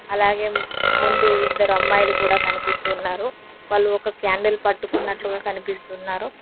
అలాగే ముందు ఇద్దరు అమ్మాయిలు కూడా కనిపిస్తున్నారు వాళ్ళు ఒక క్యాండిల్ పట్టుకున్నట్లుగా కనిపిస్తున్నారు.